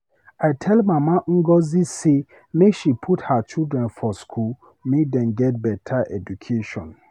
I tell mama Ngozi sey make she put her children for school make dem get beta education.